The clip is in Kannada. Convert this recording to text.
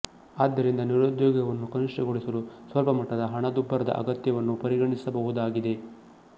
ಆದ್ದರಿಂದ ನಿರುದ್ಯೋಗವನ್ನು ಕನಿಷ್ಠಗೊಳಿಸಲು ಸ್ವಲ್ಪ ಮಟ್ಟದ ಹಣದುಬ್ಬರದ ಅಗತ್ಯವನ್ನು ಪರಿಗಣಿಸಬಹುದಾಗಿದೆ